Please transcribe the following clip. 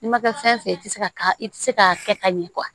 N'i ma kɛ fɛn fɛn ye i ti se ka i ti se ka kɛ ka ɲɛ